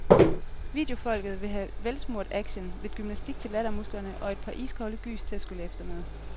Videofolket vil have velsmurt action, lidt gymnastik til lattermusklerne og et par iskolde gys til at skylle efter med.